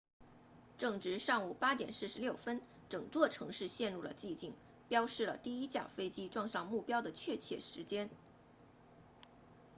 正值上午8点46分整座城市陷入了寂静标示了第一架飞机撞上目标的确切时间